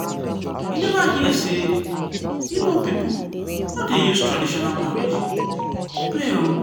you neva hear sey ibo pipu no dey use traditional marriage play o.